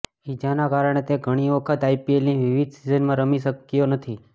ઇજાના કારણે તે ઘણી વખત આઇપીએલની વિવિધ સિઝનમાં રમી શક્યો નથી